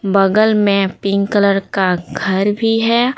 बगल में pink colour का घर भी है।